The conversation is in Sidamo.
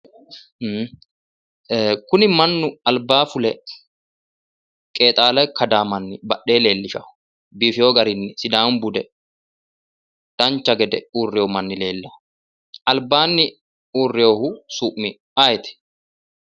Kuni mannu albaayi fule qeexalla kadaawo manni badhee leellishawo biifeewo garii sidaamu bude dancha gede uurreewo manni leellawo albaanni uurreewoohu su'mi ayeeti?